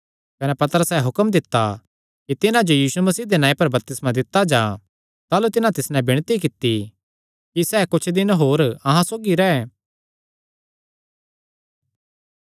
कने पतरसैं हुक्म दित्ता कि तिन्हां जो यीशु मसीह दे नांऐ पर बपतिस्मा दित्ता जां ताह़लू तिन्हां तिस नैं विणती कित्ती कि सैह़ कुच्छ दिन होर अहां सौगी रैह्